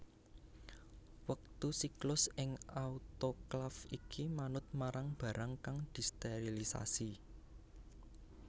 Wektu siklus ing autoklaf iki manut marang barang kang disterilisasi